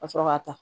Ka sɔrɔ ka taa